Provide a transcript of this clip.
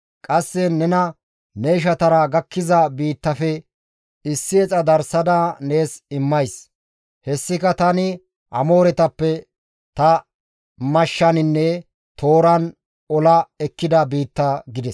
Qasse nena ne ishatara gakkiza biittaafe gisha darssada nees immays; hessika tani Amooretappe ta mashshaninne tooran ola ekkida biitta» gides.